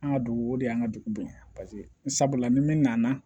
An ka dugu o de y'an ka dugudenw ye pasekela ni min nana